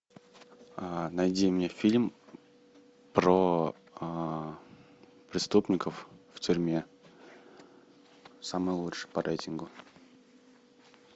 найди мне фильм про преступников в тюрьме самый лучший по рейтингу